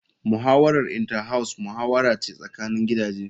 Muhawarar Inter house muhawara ce tsakanin gidaje.